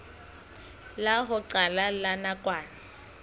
la ho qala la nakwana